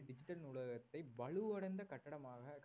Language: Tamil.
digital நூலகத்தை வலுவடைந்த கட்டிடமாக